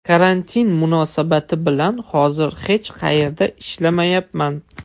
Karantin munosabati bilan hozir hech qayerda ishlamayapman.